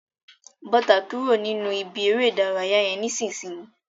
Bọ́ta kúrò nínú ìbí eré ìdárayá yẹn nisinyi.